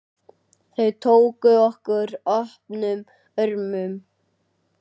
Þau tóku okkur opnum örmum.